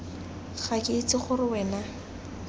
ga ke itse gore wena